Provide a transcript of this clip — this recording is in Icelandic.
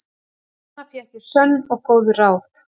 Þarna fékk ég sönn og góð ráð.